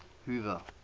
hoover